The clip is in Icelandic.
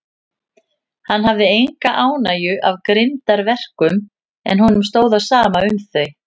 Hann hafði enga ánægju af grimmdarverkum, en honum stóð á sama um þau.